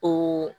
O